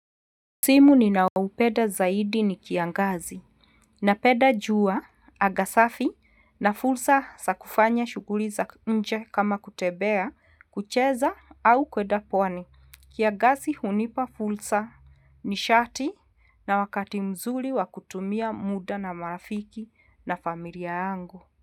Msimu ninaoupenda zaidi ni kiangazi napenda jua, anga safi, na fursa za kufanya shughuli za nje kama kutembea, kucheza au kuenda pwani. Kiangazi hunipa fursa nishati na wakati mzuri wa kutumia muda na maafiki na familia yangu.